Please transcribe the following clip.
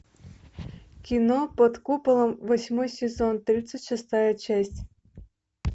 кино под куполом восьмой сезон тридцать шестая часть